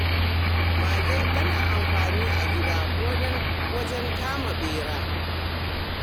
Mage tana da amfani a gida, ko da wajen kama ɓera.